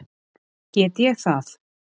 Get ég það?